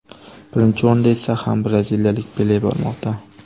Birinchi o‘rinda esa ham braziliyalik Pele bormoqda.